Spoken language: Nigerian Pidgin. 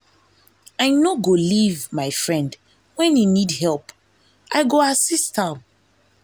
i no go leave my friend when e need help i go assist am.